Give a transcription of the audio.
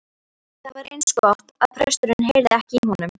Það var eins gott að presturinn heyrði ekki í honum.